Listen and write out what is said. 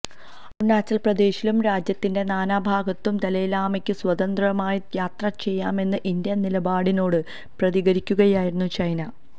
അരുണാചല്പ്രദേശിലും രാജ്യത്തിന്റെ നാനാഭാഗത്തും ദലൈലാമയ്ക്ക് സ്വതന്ത്രമായി യാത്രചെയ്യാമെന്ന ഇന്ത്യന് നിലപാടിനോട് പ്രതികരിക്കുകയായിരുന്നു ചൈന